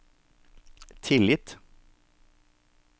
tillit